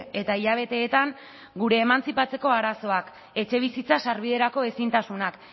eta hilabeteetan gure emantzipatzeko arazoak etxebizitza sarbiderako ezintasunak